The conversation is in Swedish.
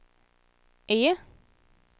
E